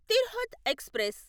Tirhut express